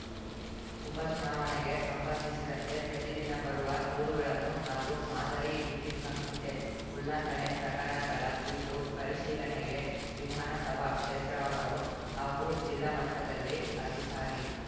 ಉಪ ಚುನಾವಣೆಗೆ ಸಂಬಂಧಿಸಿದಂತೆ ಪ್ರತಿದಿನ ಬರುವ ದೂರುಗಳನ್ನು ಹಾಗೂ ಮಾದರಿ ನೀತಿ ಸಂಹಿತೆ ಉಲ್ಲಂಘನೆ ಪ್ರಕರಣಗಳ ಕುರಿತು ಪರಿಶೀಲನೆಗೆ ವಿಧಾನಸಭಾ ಕ್ಷೇತ್ರವಾರು ಹಾಗೂ ಜಿಲ್ಲಾ ಮಟ್ಟದಲ್ಲಿ ಅಧಿಕಾರಿ